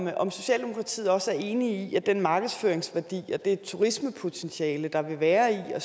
er om socialdemokratiet også er enig i at den markedsføringsværdi og det turismepotentiale der vil være i at